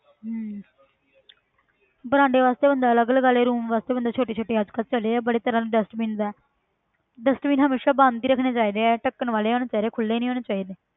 ਹਮ ਬਰਾਂਡੇ ਵਾਸਤੇ ਬੰਦਾ ਅਲੱਗ ਲਗਾ ਲਏ room ਵਾਸਤੇ ਬੰਦਾ ਛੋਟੇ ਛੋਟੇ ਅੱਜ ਕੱਲ੍ਹ ਚੱਲੇ ਆ ਬੜੇ ਤਰ੍ਹਾਂ ਦੇ dustbins ਹੈ dustbin ਹਮੇਸ਼ਾ ਬੰਦ ਹੀ ਰੱਖਣੇ ਚਾਹੀਦੇ ਹੈ ਢੱਕਣ ਵਾਲੇ ਹੋਣੇ ਚਾਹੀਦੇ ਹੈ ਖੁੱਲੇ ਨੀ ਹੋਣੇ ਚਾਹੀਦੇ,